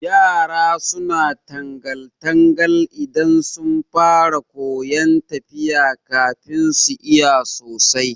Yara suna tangal- tangal idan sun fara koyan tafiya kafin su iya sosai